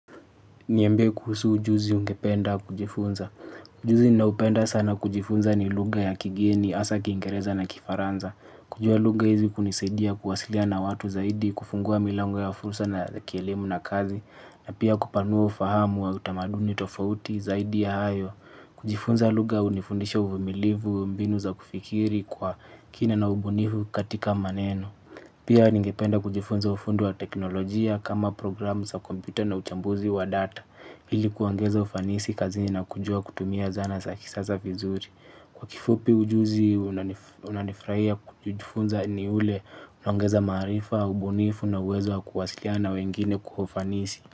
Niambie kuhusu ujuzi ungependa kujifunza. Ujuzi ninaopenda sana kujifunza ni lugha ya kigeni, hasa kiingereza na kifaranza. Kujua lugha hizi kunisaidia kuwasiliana na watu zaidi, kufungua milango ya fursa na kielimu na kazi. Na pia kupanua ufahamu wa utamaduni tofauti zaidi ya hayo. Kujifunza luga hunifundisha uvumilivu, mbinu za kufikiri kwa kina na ubunifu katika maneno. Pia ningependa kujifunza ufundi wa teknolojia kama programu za kompyuta na uchambuzi wa data ili kuongeza ufanisi kazini na kujua kutumia zana za kisasa vizuri. Kwa kifupi ujuzi unanifurahia kujifunza ni ule unaongeza maarifa, ubunifu na uwezo wa kuwasiliana na wengine kwa ufanisi.